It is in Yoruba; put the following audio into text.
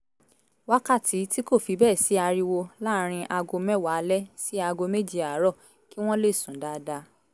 wákàtí tí kò fi bẹ́ẹ̀ sí ariwo láàárín aago mẹ́wàá alẹ́ sí aago méje àárọ̀ kí wọ́n lè sùn dáadáa